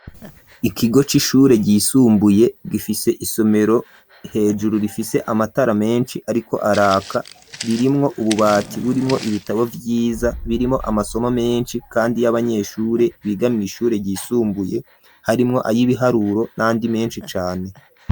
Ikigo c'ishure, ryisumbuye, gifise isomero, hejuru rifise amatara menshi, ariko araka; ririmwo ububati, burimwo ibitabo vyiza, birimwo amasomo menshi, kandi y'abanyeshure, biga mw’ishure ryisumbuye, harimwo ay'ibiharuro n'andi menshi cane.